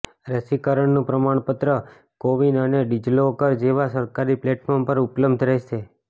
રસીકરણનું પ્રમાણપત્ર કોવિન અને ડિજિલોકર જેવા સરકારી પ્લેટફોર્મ પર ઉપલબ્ધ રહેશે